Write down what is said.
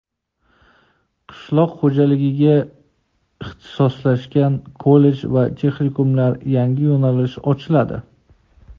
Qishloq xo‘jaligiga ixtisoslashgan kollej va texnikumlarda yangi yo‘nalish ochiladi.